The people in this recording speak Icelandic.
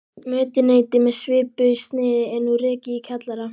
Mötuneyti með svipuðu sniði er nú rekið í kjallara